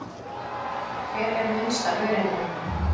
Hver er minnsta öreindin?